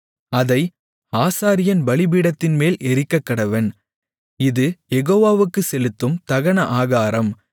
அதை ஆசாரியன் பலிபீடத்தின்மேல் எரிக்கக்கடவன் இது யெகோவாவுக்குச் செலுத்தும் தகன ஆகாரம்